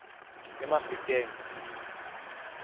emafikeng